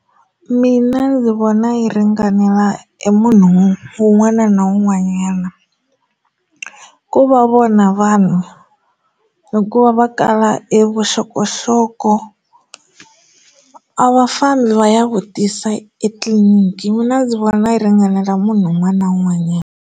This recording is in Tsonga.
Mina ndzi vona yi ringanela emunhu wun'wana na wun'wanyana ku va vona vanhu hikuva va kala evuxokoxoko a va fambi va ya vutisa etliliniki mina ndzi vona yi ringanela munhu un'wana na un'wanyana.